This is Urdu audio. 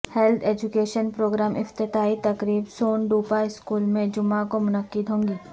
ہیلتھ ایجوکیشن پروگرام افتتاحی تقریب سون ٹوپہ سکول میں جمعےکومنعقد ہوگی